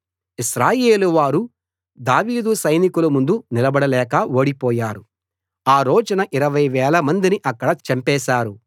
ఇశ్రాయేలు వారు దావీదు సైనికుల ముందు నిలబడలేక ఓడిపోయారు ఆ రోజున ఇరవై వేలమందిని అక్కడ చంపేశారు